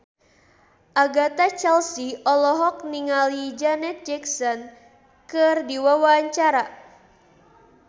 Agatha Chelsea olohok ningali Janet Jackson keur diwawancara